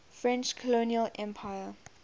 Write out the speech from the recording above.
french colonial empire